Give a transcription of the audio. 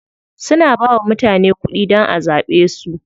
Suna bawa mutane kuɗi dan a zaɓe su.